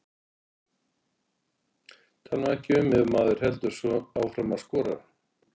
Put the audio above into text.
Tala nú ekki um ef maður heldur áfram að skora.